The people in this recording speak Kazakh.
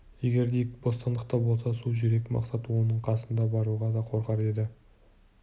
егер дик бостандықта болса су жүрек мақсат оның қасына баруға да қорқар еді